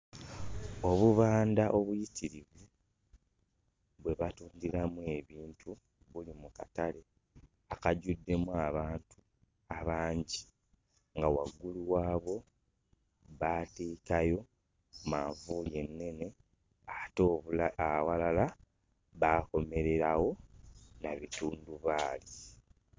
Obubanda obuyitirivu bwe batundiramu ebintu buli mu katale akajjuddemu abantu abangi, nga waggulu waabwo baateekayo manvuuli ennene ate awalala baakomererawo na bitundubaali.